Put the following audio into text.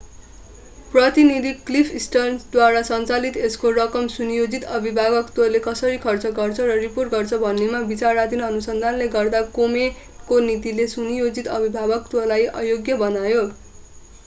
प्रतिनिधि क्लिफ स्टर्न्सद्वारा सञ्चालित यसको रकम सुनियोजित अभिभावकत्वले कसरी खर्च गर्छ र रिपोर्ट गर्छ भन्नेमा विचाराधीन अनुसन्धानले गर्दा कोमेनको नीतिले सुनियोजित अभिभावकत्वलाई अयोग्य बनायो